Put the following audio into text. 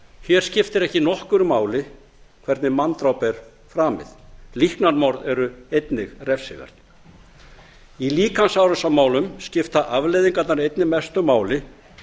hér skiptir ekki nokkru máli hvernig manndráp er framið líknarmorð eru einnig refsiverð í líkamsárásarmálum skipta afleiðingarnar einnig mestu máli